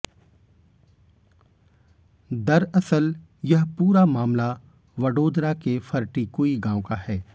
दरअसल यह पूरा मामला वडोदरा के फरटिकुई गांव का है